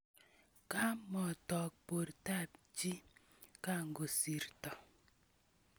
Komotook bortab chi kokakosirto.